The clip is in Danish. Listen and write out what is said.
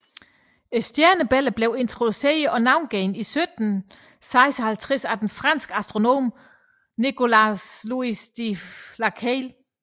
Stjernebilledet blev introduceret og navngivet i 1756 af den franske astronom Nicolas Louis de Lacaille